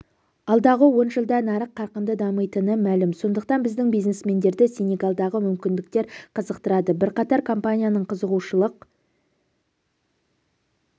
алдағы он жылда нарық қарқынды дамитыны мәлім сондықтан біздің бизнесмендерді сенегалдағы мүмкіндіктер қызықтырады бірқатар компанияның қызығушылық